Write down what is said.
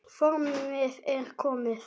Formið er komið!